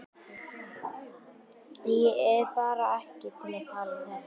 Ég er bara ekki til í að tala um þetta.